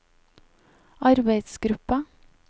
arbeidsgruppa